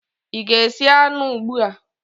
ị ga-esi anụ ugbu a?